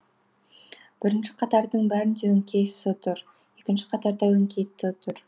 бірінші қатардың бәрінде өңкей с тұр екінші қатарда өңкей т тұр